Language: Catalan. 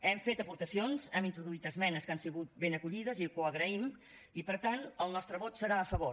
hem fet aportacions hem introduït esmenes que han sigut ben acollides i que ho agraïm i per tant el nostre vot serà a favor